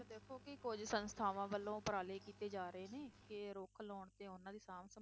ਦੇਖੋ ਕਿ ਕੁੱਝ ਸੰਸਥਾਵਾਂ ਵੱਲੋਂ ਉਪਰਾਲੇ ਕੀਤੇ ਜਾ ਰਹੇ ਨੇ, ਕਿ ਰੁੱਖ ਲਾਉਣ ਤੇ ਉਹਨਾਂ ਦਾ ਸਾਂਭ